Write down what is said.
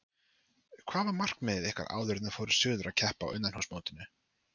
Hvað var markmið ykkar áður en þið fóruð suður að keppa á innanhúsmótinu?